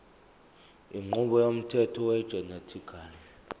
inqubo yomthetho wegenetically